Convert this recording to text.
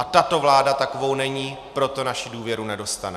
A tato vláda takovou není, proto naši důvěru nedostane.